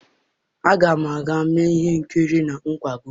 Aga m aga mee ihe nkiri na nkwago.